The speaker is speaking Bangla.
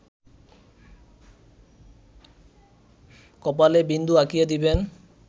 কপালে বিন্দু আঁকিয়া দিবেন